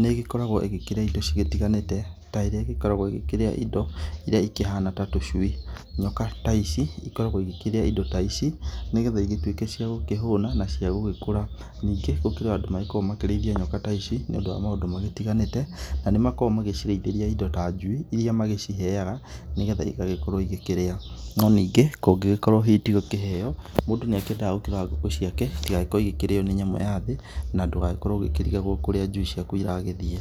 nĩ ĩgĩkoragwo ĩgĩkĩrĩa indo cigĩtiganĩte, ta ĩrĩa ĩgĩkoragwo ĩkĩrĩa indo iria ikĩhana ta tũcui. Nyoka ta ici ikoragwo igĩkĩrĩa indo ta ici nĩ getha igĩtuĩke cia gũkĩhũna na caigũgĩkũra. Ningĩ gũkĩrĩ o andũ magĩkoragwo makĩrĩithia nyoka ta ici nĩ ũndũ nwa ,maũndũ matiganĩte na nĩ makoragwo magĩcirĩithĩria indo ta njui, iria magĩciheaga nĩ getha igagĩkorwo igĩkĩria. No ningĩ kũngĩgĩkorwo hihi ti gũkĩheo mũndũ nĩ akĩendaga gũkĩrora ngũkũ ciake itigagĩkorwo igĩkĩrĩo nĩ nyamũ ya thĩ, na ndũgagĩkorwo ũgĩkĩrigagwo kũrĩa njui ciaku iragĩthiĩ.